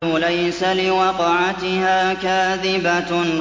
لَيْسَ لِوَقْعَتِهَا كَاذِبَةٌ